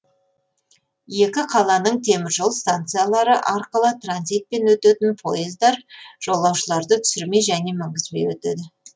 екі қаланың теміржол станциялары арқылы транзитпен өтетін пойыздар жолаушыларды түсірмей және мінгізбей өтеді